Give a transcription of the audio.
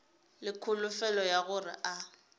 le kholofelo ya gore a